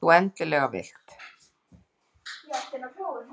Ef þú endilega vilt.